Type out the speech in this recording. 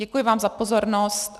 Děkuji vám za pozornost.